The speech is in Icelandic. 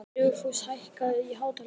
Dugfús, hækkaðu í hátalaranum.